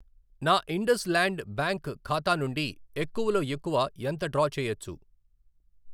నా IndusInd bank ఖాతా నుండి ఎక్కువలోఎక్కువ ఎంత డ్రా చేయచ్చు